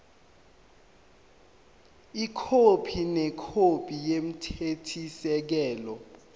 ikhophi nekhophi yomthethosisekelo